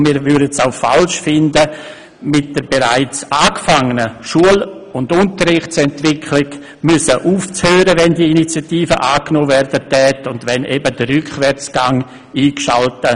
Und wir hielten es auch für falsch, dass mit der bereits angefangenen Schul- und Unterrichtsentwicklung aufgehört werden müsste, sollte diese Initiative angenommen werden und sollte man damit eben in den Rückwärtsgang schalten.